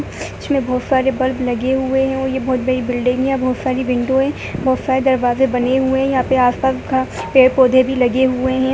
इसमें बहुत सारे बल्ब लगे हुए हैं और ये बहुत बड़ी बिल्डिंग है। बहुत सारी विंडो है। बहुत सारे दरवाज़े बने हुए हैं। यहाँ पे आस पास घ पेड़ पौधे भी लगे हुए हैं।